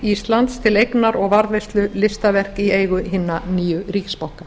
íslands til eignar og varðveislu listaverk í eigu hinna nýju ríkisbanka